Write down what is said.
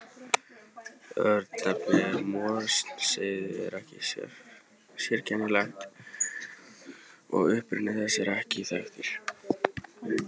Örnefnið Morinsheiði er sérkennilegt og uppruni þess er ekki þekktur.